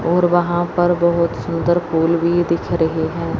और वहां पर बहुत सुंदर फूल भी दिख रहे हैं।